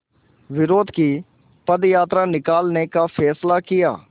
विरोध की पदयात्रा निकालने का फ़ैसला किया